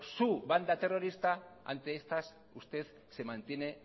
su banda terrorista ante estas usted se mantiene